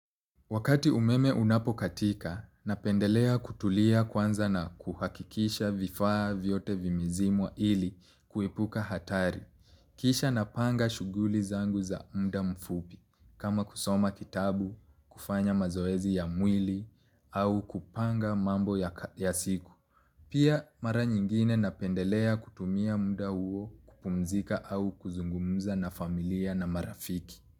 Wakati umeme unapo katika, napendelea kutulia kwanza na kuhakikisha vifaa vyote vimezimwa ili kuepuka hatari. Kisha napanga shughuli zangu ya muda mfupi kama kusoma kitabu kufanya mazoezi ya mwili au kupanga mambo ya siku. Pia mara nyingine napendelea kutumia muda huo kupumzika au kuzungumza na familia na marafiki.